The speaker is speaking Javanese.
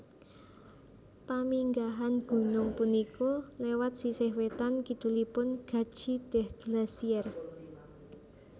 Paminggahan gunung punika lewat sisih wetan kidulipun Qadzi Deh Glacier